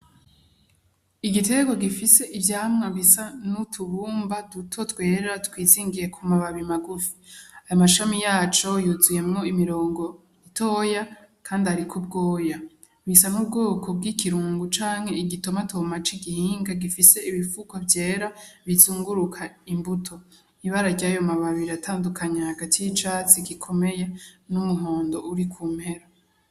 Igitego gifise ivyamwa bisa n'utubumba duto twera twisingiye ku mababi magufi amashami yaco yuzuyemwo imirongo itoya, kandi, ariko ubwoya bisa n' bwoko bw'ikirungu canke igitoma tomaca igihinga gifise ibipfuko vyera bizunguruka imbue to ibara rya yo mababiri atandukanye hagati y'icatsi gikomeye n'umuhondo uri ku mpera.